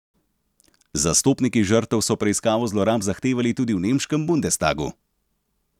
Zastopniki žrtev so preiskavo zlorab zahtevali tudi v nemškem bundestagu.